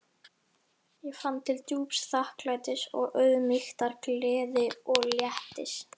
Ég fann til djúps þakklætis og auðmýktar, gleði og léttis.